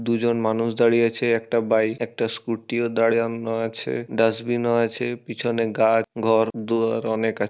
দুজন মানুষ দাঁড়িয়ে আছে একটা বাইক একটা স্কুটি ও দাঁড়িয়ানো আছে। ডাস্টবিন ও আছে। পিছনে গাছ ঘর দুয়ার অনেক আছে।